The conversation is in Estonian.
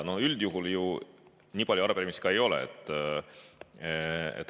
Üldjuhul nii palju arupärimisi ka ei ole.